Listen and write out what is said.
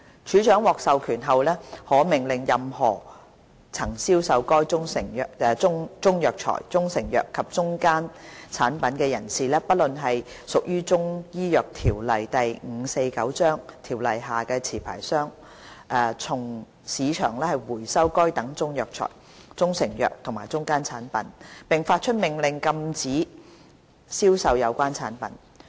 署長獲授權後，可命令任何曾銷售該中藥材、中成藥及中間產品的人士，不論是否屬於《中醫藥條例》下的持牌商，從市場收回該等中藥材、中成藥和中間產品，並發出命令禁止銷售有關產品。